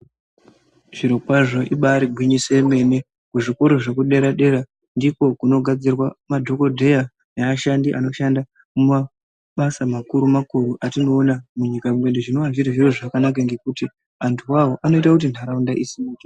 Zvirokwazvo ibari gwinyiso yemene kuzvikora zvekudera-dera, ndiko kunogadzirwa madhogodheya neashandi anoshanda mumabasa makuru-makuru, atinoona munyika mwedu. Zvinova zviri zviro zvakanaka ngekuti vantu vavo vanoita kuti nharaunda isimuke.